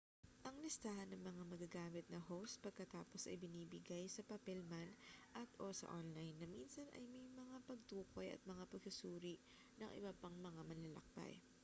ang listahan ng mga magagamit na host pagkatapos ay ibinibigay sa papel man at/o sa online na minsan ay may mga pagtukoy at mga pagsusuri ng iba pang mga manlalakbay